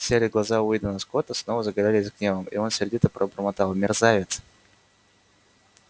серые глаза уидона скотта снова загорелись гневом и он сердито пробормотал мерзавец